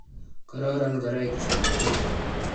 kororon ngoroik chin wechei